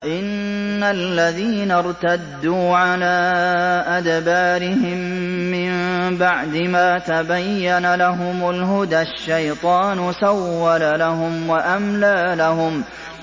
إِنَّ الَّذِينَ ارْتَدُّوا عَلَىٰ أَدْبَارِهِم مِّن بَعْدِ مَا تَبَيَّنَ لَهُمُ الْهُدَى ۙ الشَّيْطَانُ سَوَّلَ لَهُمْ وَأَمْلَىٰ لَهُمْ